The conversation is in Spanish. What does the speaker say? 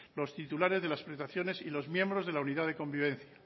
los titulares de las prestaciones y los miembros de la unidad de convivencia